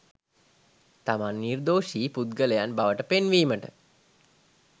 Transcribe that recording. තමන් නිර්දොෂී පුද්ගලයන් බවට පෙන්වීමට